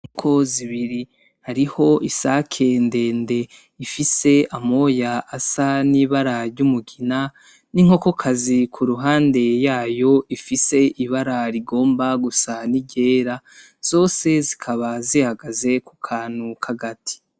Inkoko zibiri hariho isake ndende , ifise amoya asa n'ibara ry'umugina n'inkokokazi kuruhande yayo ifise ibara rigomba gusa n'iryera, zose zikaba zihagaze kukantu kagati.